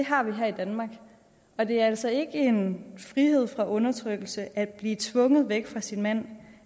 har vi her i danmark og det er altså ikke en frihed fra undertrykkelse at blive tvunget væk fra sin mand